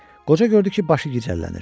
Qoca gördü ki, başı gicəllənir.